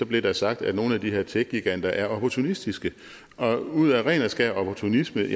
blev sagt at nogle af de her techgiganter er opportunistiske og ud af ren og skær opportunisme